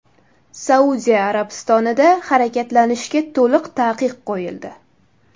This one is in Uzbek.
Saudiya Arabistonida harakatlanishga to‘liq taqiq qo‘yildi.